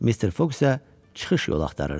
Mister Foq isə çıxış yol axtarırdı.